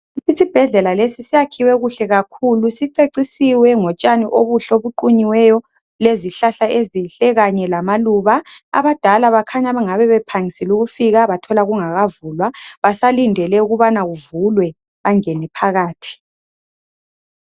Isibhedlela lesi siyakhiwe kuhle kakhulu sicecisiwe ngotshani okuhle okuqunyiweyo lezihlahla ezinhle kanye lamaluba abadala bakhanya bengabe bephangisile ukufika bethola kungakavulwa basalindele ukubana kuvulwe bangene phakathi.